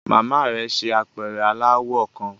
Mama rẹ ṣe apẹrẹ alawọ kan